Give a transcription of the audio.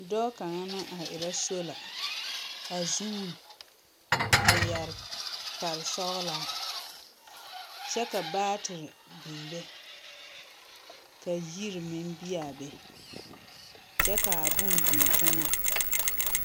Dɔɔ kaŋa na a erɛ sola, a zuun, a yɛre kparesɔgelaa, kyɛ ka baatere biŋ be, ka yiri meŋ bi a be, kyɛ kaa bone biŋ teŋɛŋ.